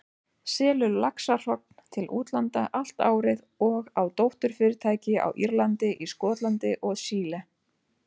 selur laxahrogn til útlanda allt árið og á dótturfyrirtæki á Írlandi, í Skotlandi og Chile.